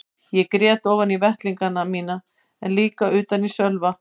Ég grét ofan í vettlingana mína en líka utan í Sölva.